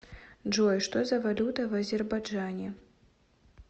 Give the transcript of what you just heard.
джой что за валюта в азербайджане